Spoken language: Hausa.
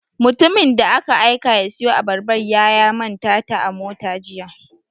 Mutumin da aka aika ya siyo Abarbar ya ya manta ta a mota Jiya.